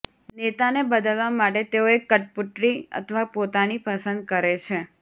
નેતાને બદલવા માટે તેઓ એક કઠપૂતળી અથવા પોતાની પસંદ કરે છે